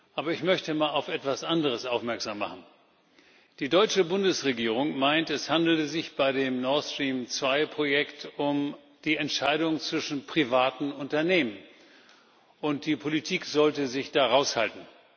Aber ich möchte mal auf etwas anderes aufmerksam machen Die deutsche Bundesregierung meint, es handele sich bei dem Nord Stream 2 Projekt um die Entscheidung zwischen privaten Unternehmen und die Politik sollte sich da raushalten.